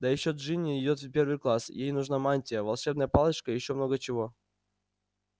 да ещё джинни идёт в первый класс ей нужна мантия волшебная палочка и ещё много чего